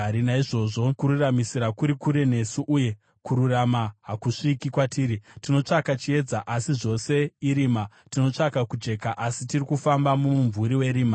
Naizvozvo kururamisira kuri kure nesu, uye kururama hakusviki kwatiri. Tinotsvaka chiedza, asi zvose irima; tinotsvaka kujeka, asi tiri kufamba mumumvuri werima.